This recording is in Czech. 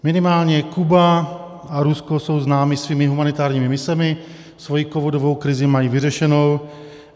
Minimálně Kuba a Rusko jsou známy svými humanitárními misemi, svoji covidovou krizi mají vyřešenou.